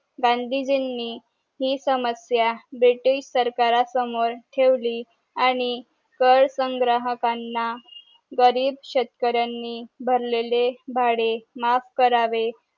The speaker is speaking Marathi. गांधीजी नि हि समस्या ब्रिटिश सरकार समोर ठेवली आणि कर संग्रह काना गरीब शेतकऱ्यांनी भरलेले भाडे माफ करावे